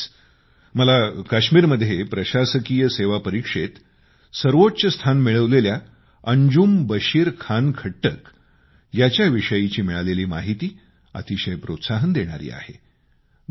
अलिकडेच मला काश्मीरमध्ये प्रशासकीय सेवा परीक्षेत सर्वोच्च स्थान मिळवलेल्या अंजुम बशीर खान खट्टक याच्याविषयीची मिळालेली माहिती अतिशय प्रोत्साहन देणारी आहे